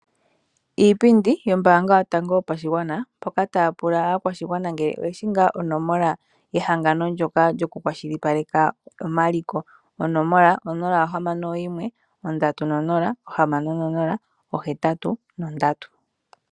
Iipindi yOmbaanga yotango yopashigwana mpoka taya pula aakwashigwana ngele oyeshi ngaa omola yehangano ndyoka lyoku kwashilipaleka omaliko. Onomola onola ohamano noyimwe, ondatu nonola, ohamano nonola, ohetatu nondatu.